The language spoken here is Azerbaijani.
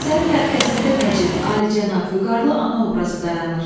Əsərin mərkəzində Nəcib, Alicənab, Vüqarlı ana obrazı dayanır.